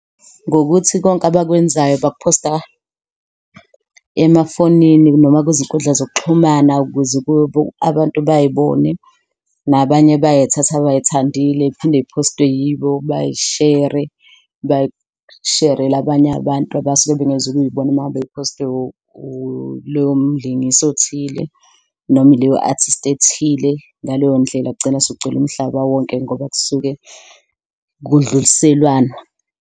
Ngokuthi konke abakwenzayo baku phosta emafonini noma kwizinkundla zokuxhumana ukuze kube abantu bay'bone nabanye bayayithatha abay'thandile. Kuphinde ziphostwe yibo, bayishere bayisherele abanye abantu abasuke bengezo kuyibona mangabe ziphostwe ilowo mlingisi othile noma ileyo artist ethile. Ngaleyo ndlela kugcina sekugcwele umhlaba wonke ngoba kusuke kudluliselwana.